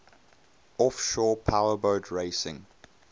offshore powerboat racing